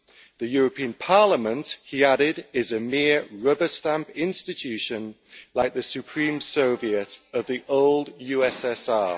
The European Parliament, he added, is a mere rubber-stamp institution like the Supreme Soviet of the old USSR.